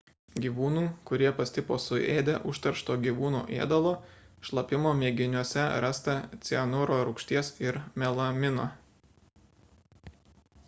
gyvūnų kurie pastipo suėdę užteršto gyvūnų ėdalo šlapimo mėginiuose rasta cianuro rūgšties ir melamino